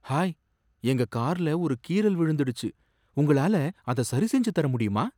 Hi! எங்க கார்ல ஒரு கீறல் விழுந்துடுச்சு, உங்களால அதை சரிசெஞ்சு தர முடியுமா!